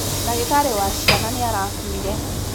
ndagītarī wa ciana nīarakuire.